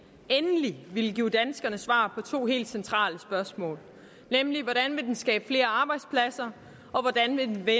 endelig ville give danskerne svar på to helt centrale spørgsmål nemlig hvordan den vil skabe flere arbejdspladser og hvordan den vil